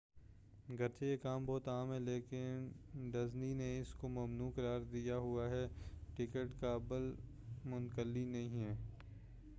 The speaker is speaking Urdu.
گرچہ یہ کام بہت عام ہے لیکن ڈزنی نے اس کو ممنوع قرار دیا ہوا ہے ٹکٹ قابل منقلی نہیں ہیں